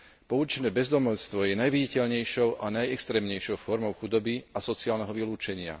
Pouličné bezdomovstvo je najviditeľnejšou a najextrémnejšou formou chudoby a sociálneho vylúčenia.